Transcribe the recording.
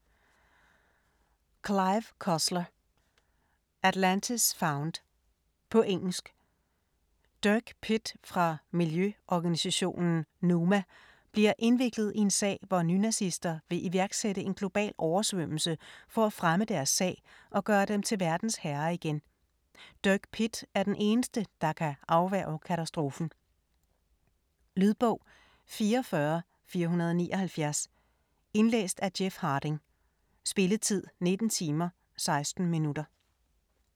Cussler, Clive: Atlantis found På engelsk. Dirk Pitt fra miljøorganisation NUMA bliver indviklet i en sag, hvor nynazister vil iværksætte en global oversvømmelse for at fremme deres sag og gøre dem til verdens herrer igen. Dirk Pitt er den eneste der kan afværge katastrofen. Lydbog 44479 Indlæst af Jeff Harding. Spilletid: 19 timer, 16 minutter.